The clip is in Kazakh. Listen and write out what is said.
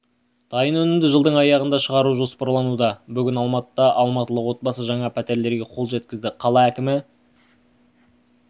дайын өнімді жылдың аяғында шығару жоспарлануда бүгін алматыда алматылық отбасы жаңа пәтерлерге қол жеткізді қала кімі